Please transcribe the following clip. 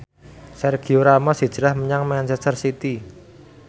Sergio Ramos hijrah menyang manchester city